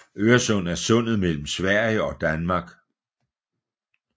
Øresund er sundet mellem Sverige og Danmark